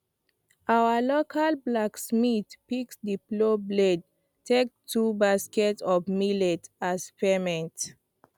our local blacksmith fix the plow blade take two basket of millet as payment